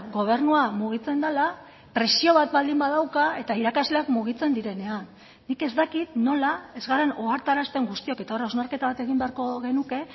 gobernua mugitzen dela presio bat baldin badauka eta irakasleak mugitzen direnean nik ez dakit nola ez garen ohartarazten guztiok eta hor hausnarketa bat egin beharko genuke